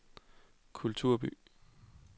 kulturby